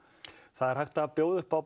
það er hægt að bjóða upp á